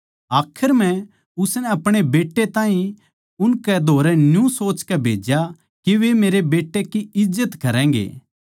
आखर म्ह उसनै अपणे बेट्टे ताहीं उनकै धोरै न्यू सोचकै भेज्या के वे मेरै बेट्टे की इज्जत करैगें